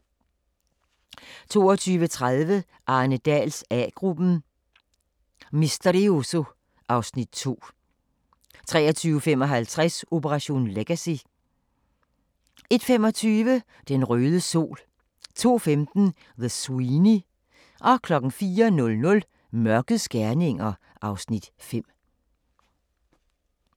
22:30: Arne Dahls A-gruppen: Misterioso (Afs. 2) 23:55: Operation Legacy 01:25: Den røde sol 02:15: The Sweeney 04:00: Mørkets gerninger (Afs. 5)